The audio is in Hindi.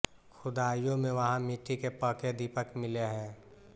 खुदाइयों में वहाँ मिट्टी के पके दीपक मिले है